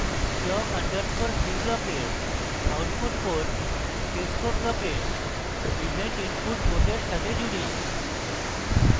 clock underscore c ব্লকের output port cscope ব্লকের event input port সাথে জুড়ি